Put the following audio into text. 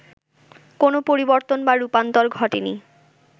কোনো পরিবর্তন বা রূপান্তর ঘটেনি